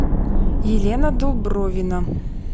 елена дубровина